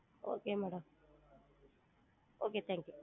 Okay madam okay thank you